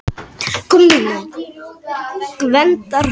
Gvendarstöðum